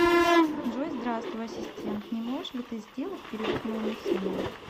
джой здравствуй ассистент не можешь ли ты сделать перевод моему сыну